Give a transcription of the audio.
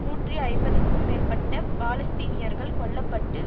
நூற்றி ஐம்பதுக்கும் மேற்பட்ட பாலஸ்தீனியர்கள் கொல்ல பட்டு